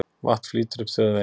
Vatn flýtur upp á þjóðveginn